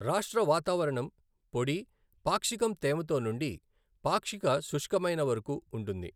రాష్ట్ర వాతావరణం పొడి, పాక్షికం తేమతో నుండి పాక్షిక శుష్కమైన వరకు ఉంటుంది.